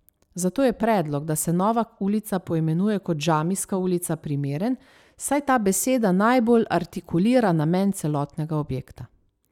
Zato je predlog, da se nova ulica poimenuje kot Džamijska ulica primeren, saj ta beseda najbolj artikulira namen celotnega objekta ...